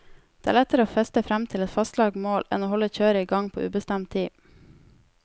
Det er lettere å feste frem til et fastlagt mål enn å holde kjøret i gang på ubestemt tid.